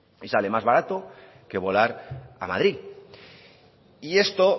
y sale más barato que volar a madrid y esto